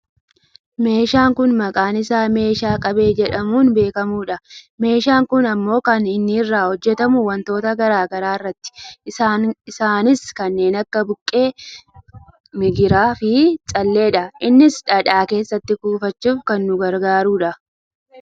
meeshaan kun maqaan isaa meeshaa qabee jedhamuun beekkamudha. meshaan kun ammoo kan inni irraa hujjatamu wantoota gara garaa irraati, isaanis kanneen akka buqqee, migiraa fi calleedha. innis dhadhaa keessatti kuufachuuf kan nu gargaarudha.